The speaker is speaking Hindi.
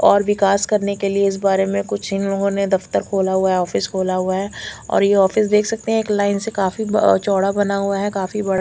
और विकास करने के लिए इस बारे में कुछ इन्होने दफ्तर खोला हैं ऑफिस खोला हैं और ये ऑफिस देख सकते हैं एक लाइन से काफी चौड़ा बना हुआ हैं काफी बड़ा--